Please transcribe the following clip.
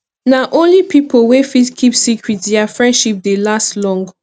na only pipo wey fit keep secret dia friendship dey last long